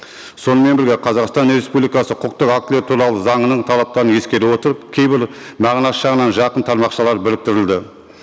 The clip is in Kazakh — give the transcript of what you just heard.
сонымен бірге қазақстан республикасы құқықтық актілер туралы заңының талаптарын ескере отырып кейбір мағынасы жағынан жақын тармақшалар біріктірілді